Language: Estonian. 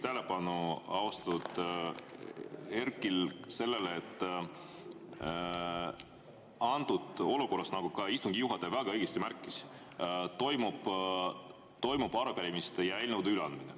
Juhin austatud Erkki tähelepanu sellele, et antud olukorras, nagu ka istungi juhataja väga õigesti märkis, toimub arupärimiste ja eelnõude üleandmine.